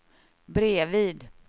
bredvid